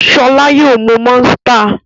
Ṣọlá yóò mú Monster.